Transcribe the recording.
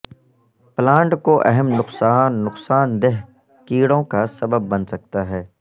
plant کو اہم نقصان نقصان دہ کیڑوں کا سبب بن سکتا ہے